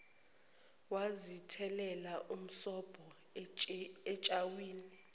wazithela msobho etswayini